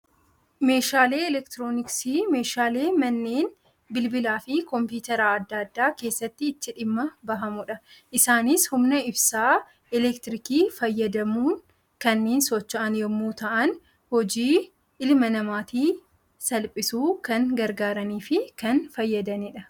Meeshaaleen eleektirooniksii, meeshaalee manneen bilbilaa fi kompiitaraa addaa addaa keessatti itti dhimma bahamudha. Isaanis humna ibsaa eleektirikii fayyadamuun kanneen socho'an yemmuu ta'an, hojii ilma namaatiif salphisuuf kan gargaaranii fi kan fayyadanidha.